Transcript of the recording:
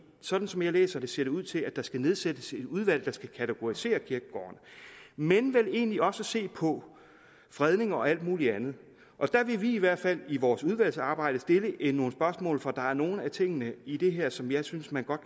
sådan som jeg læser det ser det ud til at der skal nedsættes et udvalg der skal kategorisere kirkegårdene men vel egentlig også se på fredning og alt muligt andet og der vil vi i hvert fald i vores udvalgsarbejde stille nogle spørgsmål for der er nogle af tingene i det her som jeg synes man godt